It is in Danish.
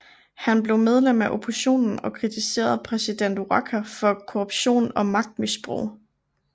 Han blev medlem af oppositionen og kritiserede præsident Waqa for korruption og magtmisbrug